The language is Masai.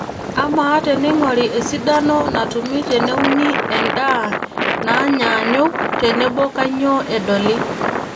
Ama teneingori esidano natumi teneuni endaa naanyaanyuk tenebo kaanyioo edoli.